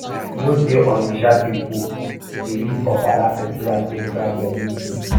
you know sey onitsha pipu dey use ofala festival take crown dem new king